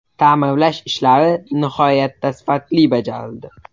Ta’mirlash ishlari nihoyatda sifatli bajarildi.